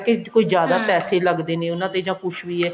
ਕਿ ਕੋਈ ਜਿਆਦਾ ਪੈਸੇ ਲੱਗਦੇ ਨੇ ਉਹਨਾ ਤੇ ਜਾਂ ਕੁੱਛ ਵੀ ਐ